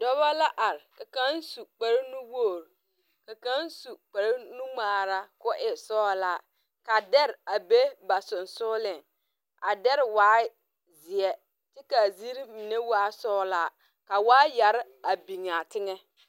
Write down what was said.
Dɔba la arẽ ka kang su kpare nu wuori ka kang su kpare nu ngmaara koo e sɔglaa ka deri a be ba sunsuuring a deri waa zie kye ka a ziiri mene waa sɔglaa ka waayeri a bengaã tenga.